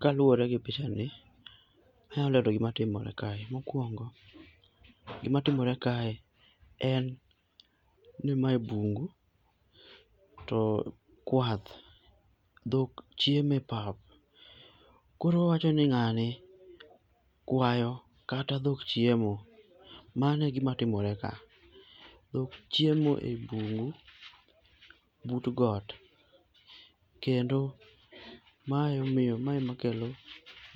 Kaluwore gi pichani, anyalo lero gima timore kae. Mokuongo, gimatimore kae en ni mae bungu to kwath, dhok chiemo e pap. Koro owacho ni ng'ani kwayo kata dhok chiemo. Mano e gima timore ka. Dhok chiemo e bungu but got. Kendo ma ema emomiyo ma ema kelo